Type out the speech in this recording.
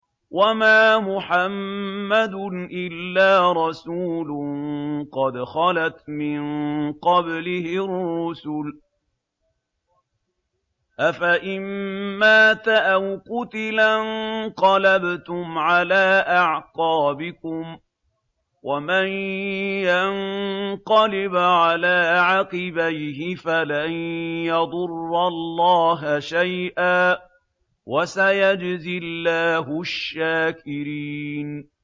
وَمَا مُحَمَّدٌ إِلَّا رَسُولٌ قَدْ خَلَتْ مِن قَبْلِهِ الرُّسُلُ ۚ أَفَإِن مَّاتَ أَوْ قُتِلَ انقَلَبْتُمْ عَلَىٰ أَعْقَابِكُمْ ۚ وَمَن يَنقَلِبْ عَلَىٰ عَقِبَيْهِ فَلَن يَضُرَّ اللَّهَ شَيْئًا ۗ وَسَيَجْزِي اللَّهُ الشَّاكِرِينَ